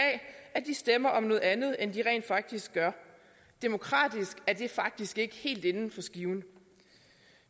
at de stemmer om noget andet end de rent faktisk gør demokratisk er det faktisk ikke helt inden for skiven